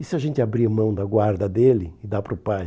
E se a gente abrir mão da guarda dele e dar para o pai?